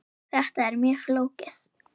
Þetta er mjög flókið.